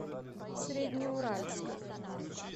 среднеуральска